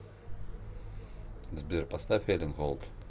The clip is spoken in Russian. сбер поставь элен голд